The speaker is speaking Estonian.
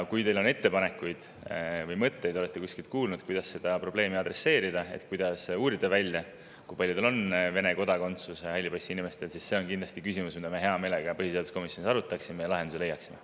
Kui teil on ettepanekuid või mõtteid, kui te olete kuskilt kuulnud, kuidas seda probleemi adresseerida, kuidas uurida välja, kui paljudel hallipassiinimestel on Vene kodakondsus, siis see on kindlasti küsimus, mida me hea meelega põhiseaduskomisjonis arutaksime ja millele lahenduse leiaksime.